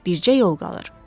Bircə yol qalır.